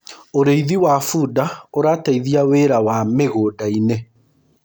ũrĩithi wa bunda urateithia wira wa mĩgũnda-inĩ